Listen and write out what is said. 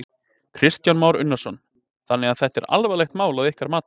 Kristján Már Unnarsson: Þannig að þetta er alvarlegt mál að ykkar mati?